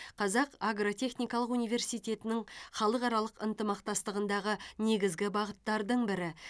қазақ агротехникалық университетінің халықаралық ынтымақтастығындағы негізгі бағыттардың бірі